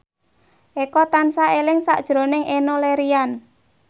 Eko tansah eling sakjroning Enno Lerian